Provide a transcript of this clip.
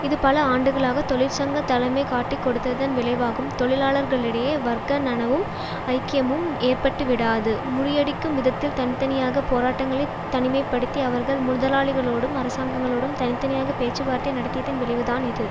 இது பல ஆண்டுகளாக தொழிற்சங்க தலைமை காட்டிக்கொடுத்ததன் விளைவாகும் தொழிலாளர்களிடையே வர்க்க நனவும் ஐக்கியமும் ஏற்பட்டுவிடாது முறியடிக்கும் விதத்தில் தனி தனியாக போராட்டங்களை தனிமை படுத்தி அவர்கள் முர்தலாளிகளோடும் அரசாங்கங்களோடும் தனி தனியாக பேச்சு வார்த்தை நடத்தியதன் விளைவுதான் இது